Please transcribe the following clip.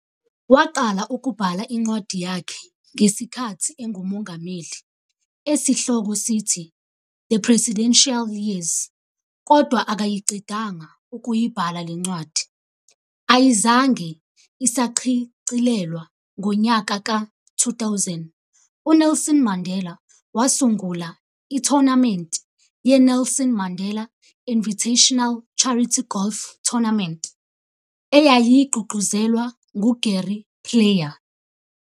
Waqala ukubhala incwadi yakhe ngesikhathi engumongameli, esihloko sithi-"The Presidential Years", kodwa akayiqedanga ukuyibhala le ncwadi, ayizange isachicilelwa. Ngonyaka ka 2000, uNelson Mandela wasungula ithonamenti ye-Nelson Mandela Invitational charity golf tournament, eyayigqugquzelwa ngu-Gary Player.